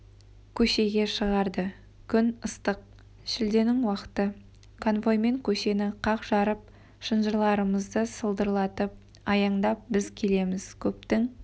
көшеге шығарды күн ыстық шілденің уақыты конвоймен көшені қақ жарып шынжырларымызды сылдырлатып аяңдап біз келеміз көптің